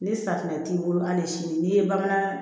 Ni safinɛ t'i bolo hali sini n'i ye bamanan